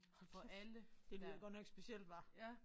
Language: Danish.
Hold kæft det lyder godt nok specielt hva